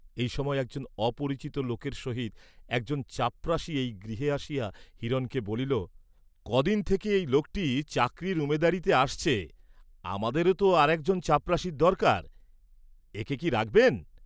এই সময় একজন অপরিচিত লোকের সহিত একজন চাপরাশি এই গৃহে আসিয়া হিরণকে বলিল, কদিন থেকে এই লোকটি চাকরীর উমেদারীতে আসছে আমাদেরও তো আর একজন চাপরাশির দরকার, এ’কে কি রাখবেন?